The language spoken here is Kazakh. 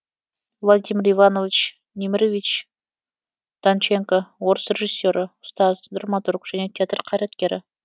владимир иванович немирович данченко орыс режиссері ұстаз драматург және театр қайраткері